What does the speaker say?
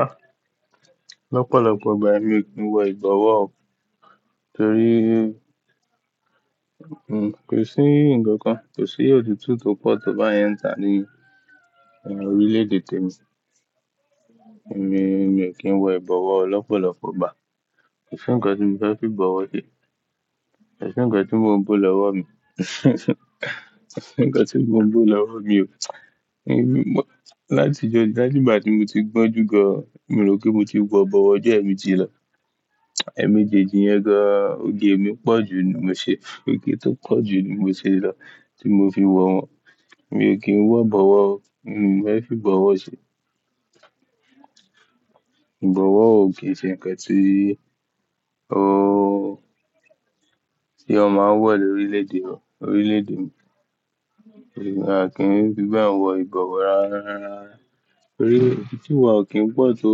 Ah, lọ́pọ̀lọpọ̀ ìgbà èmi kì ń wọ ìbọ̀wọ́, torí, hmm, kò sí ǹkan kan, kò sí ọ̀tútù tó pọ̀ tó bá yẹn ń tà ní orílẹ̀ èdè tèmi. Ẹ̀mí, èmi ò kí ń wọ ìbọ̀wọ́ lọ́pọ̀lọpọ̀ ìgbà. Kò sí ǹkan tí mo fẹ́ fi bọ̀wọ̀ se. Kò sí ǹkan tí mò ń bú lọ́wọ́ mi. Kò sí ǹkan tí mò ń bò lọ́wọ́ mi o. Ẹ̀mí, láti ọjọ́, láti ìgbà tí mo ti gbọ́njú gan, mi ò rò pé mo ti wọ ìbọ̀wọ́ jẹù ẹ̀mejì lọ. Ẹ̀mejẹ́jẹì yẹn gan, oge mi pọ̀ jù ní mò ń ṣe. Òge tó pọ̀ jù ní mò ń ṣe lọ, tí mò ń fi wọ wọn. Èmi ò kí ń wọ ìbọ̀wọ́, hmm, èmi ò fẹ́ fi bọ̀wọ̀ sí. Ìbọ̀wọ́ ò kí ń ṣe ǹkan tí, ooo, tí ọ máa ń wọ̀ ní orílẹ̀ èdè o, orílẹ̀ èdè mi. Ẹ̀mí, a kì í fi bẹ́ẹ̀ wọ ìbọ̀wọ́ rara. Torí, ọ̀tútù wa ò kín pọ̀ tó,